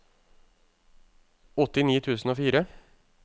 åttini tusen og fire